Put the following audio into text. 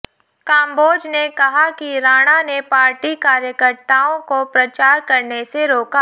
काम्बोज ने कहा कि राणा ने पार्टी कार्यकर्ताओं को प्रचार करने से रोका